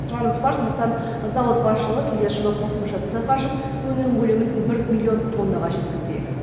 сұраныс бар сондықтан зауыт басшылығы келер жылы қосымша цех ашып өнім көлемін бір миллион тоннаға жеткізбек